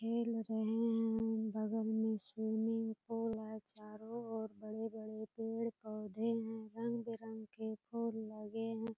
खेल रहे हैं बगल में स्विमिंग पूल है चोरों ओर बड़े-बड़े पेड़-पौधे हैं रंग बिरंग फुल लगे हैं ।